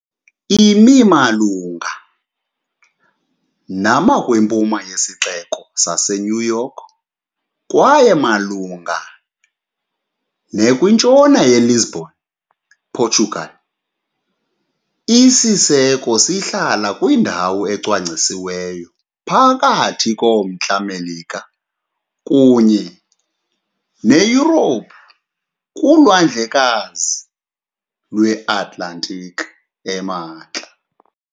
Imi malunga nama kwimpuma yeSixeko saseNew York kwaye malunga ne kwintshona yeLisbon, ePortugal, Isiseko sihlala kwindawo ecwangcisiweyo phakathi koMntla Melika kunye neYurophu kuLwandlekazi lweAtlantiki emantla.